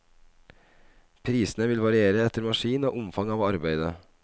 Prisene vil variere etter maskin og omfang av arbeidet.